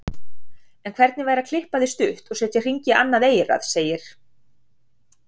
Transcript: En hvernig væri að klippa þig stutt og setja hring í annað eyrað, segir